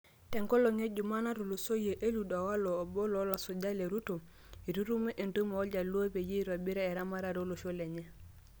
Tenkolong e jumaa natulusoyia, Eliud owalo oboo loolasujak le Ruto eitutumo entumo ooljaluo peyie eitobiru eramatare olosho lenye.